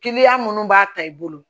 Kiliyan minnu b'a ta i bolo